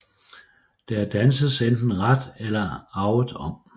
Der danses enten ret eller avet om